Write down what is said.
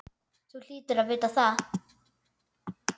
Þú hlýtur að vita það.